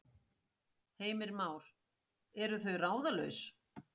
Heimir Már: Eru þau ráðalaus?